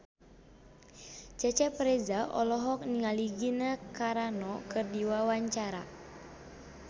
Cecep Reza olohok ningali Gina Carano keur diwawancara